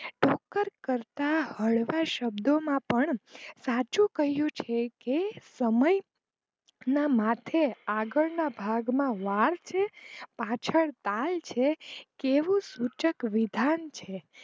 પણ કરતા હળવા શબ્દો માં પણ સાચું કહીંયુ છે કે આ સમય ના માથે વાળ આગળના ભાગમાં વાળ છે પાછળ તાલ છે કેવું સૂચક વિધાન છે.